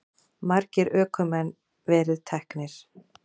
Margir ökumenn verið teknir